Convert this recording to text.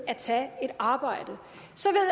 at tage et arbejde